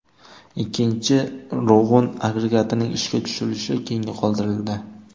Ikkinchi Rog‘un agregatining ishga tushirilishi keyinga qoldirildi.